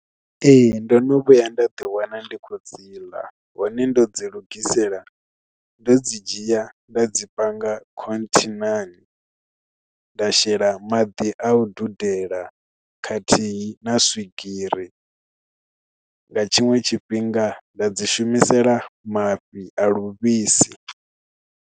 Ee ndo no vhuya nda ḓi wana ndi khou dzi ḽa hone ndo dzi lugisela ndo dzi dzhia nda dzi panga khonthinani nda shela maḓi a u dudela khathihi na swigiri nga tshiṅwe tshifhinga nda dzi shumisela mafhi a livhisi.